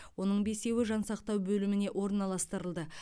оның бесеуі жансақтау бөліміне орналастырылды